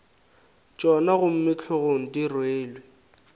tšona gomme hlogong di rwele